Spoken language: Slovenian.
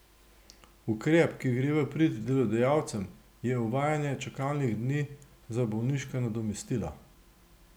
Ukrep, ki gre v prid delodajalcem, je uvajanje čakalnih dni za bolniška nadomestila.